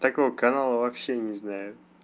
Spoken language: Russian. такого канала вообще не знаю